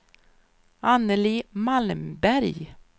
Anneli Malmberg